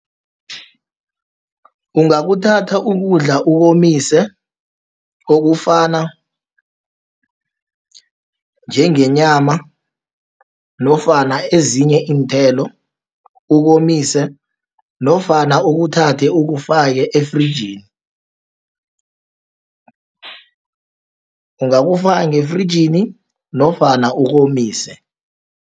Ungakuthatha ukudla ukomise, okufana njengenyama, nofana ezinye iinthelo, ukomise nofana ukuthathe ukufake efrijini. Ungakufaka ngefrijini, nofana ukomise.